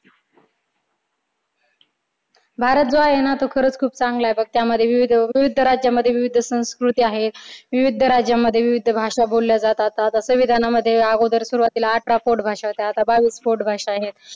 भारत जो आहे ना तो खरंच खूप चांगला आहे बघ. विविध राज्यामध्ये विविध संस्कृती आहेत. विविध राज्यामध्ये विविध भाषा बोलल्या जातात. संविधानामध्ये अगोदर सुरुवातीला अठरा पोटभाषा होत्या. आता बावीस पोटभाषा आहेत.